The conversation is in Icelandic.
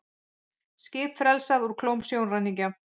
Skip frelsað úr klóm sjóræningja